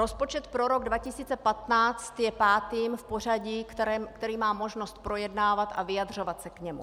Rozpočet pro rok 2015 je pátým v pořadí, který mám možnost projednávat a vyjadřovat se k němu.